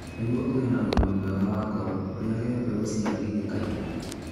Nĩguo ũgĩe na ũgima mwega wa ngoro, ũrĩage mbegũ cia ngigĩ kaingĩ.